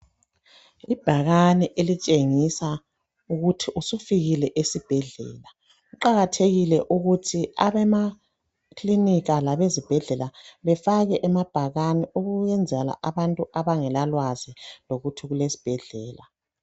Ibhakane elitshengisa ukuthi usufikile esibhedlela ,kuqakathekile ukuthi abema kilinika labezibhedlela befake amabhakane ukwenzela ukuthi abantu abangela lwazi lokuthi kulesibhedlela.